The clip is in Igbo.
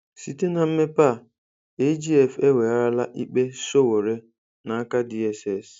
Site na mmepe a, AGF ewegharala ikpe Sowore n'aka DSS.